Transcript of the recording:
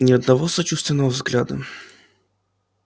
ни одного сочувственного взгляда